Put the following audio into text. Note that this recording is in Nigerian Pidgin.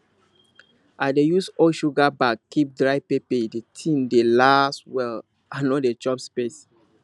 i dey use old sugar bag keep dry pepper the thing dey last well and no dey chop space